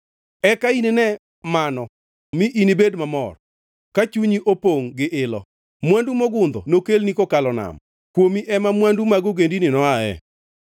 Eka inine mano mi inibed mamor ka chunyi opongʼ gi ilo, mwandu mogundho nokelni kokalo nam, kuomi ema mwandu mag ogendini noae.